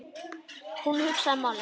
Hann hugsar málið.